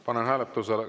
Panen hääletusele.